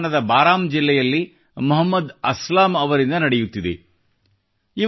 ರಾಜಸ್ಥಾನದ ಬಾರಾಂ ಜಿಲ್ಲೆಯಲ್ಲಿ ಮೊಹಮ್ಮದ ಅಸ್ಲಮ ಅವರಿಂದ ನಡೆಯುತ್ತಿದೆ